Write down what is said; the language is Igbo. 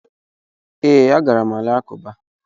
Ee, agara m alakụba.